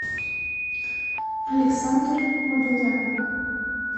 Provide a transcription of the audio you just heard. александр мадоян